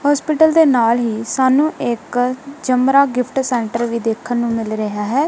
Hospital ਦੇ ਨਾਲ ਹੀ ਸਾਨੂੰ ਇੱਕ ਚਮਰਾ ਗਿਫਟ ਸੈਂਟਰ ਵੀ ਦੇਖਣ ਨੂੰ ਮਿਲ ਰਿਹਾ ਹੈ।